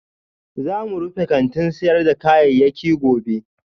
Za mu rufe kantin sayar da kayayyaki gobe